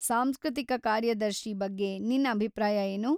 ಸಾಂಸ್ಕೃತಿಕ ಕಾರ್ಯದರ್ಶಿ ಬಗ್ಗೆ ನಿನ್ ಅಭಿಪ್ರಾಯ ಏನು?